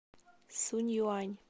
сунъюань